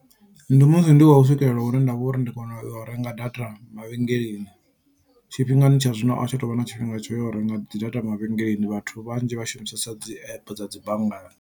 Ndi musi ndi khou swikelela hune ndavha uri ndi kone u renga data mavhengeleni tshifhingani tsha zwino a hu tsha tovha na tshifhinga tsho ya u renga data mavhengeleni vhathu vhanzhi vha shumisesa dzi app dza dzi banngani.